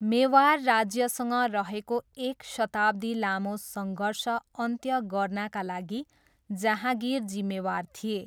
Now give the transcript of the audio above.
मेवार राज्यसँग रहेको एक शताब्दी लामो सङ्घर्ष अन्त्य गर्नाका लागि जहाँगिर जिम्मेवार थिए।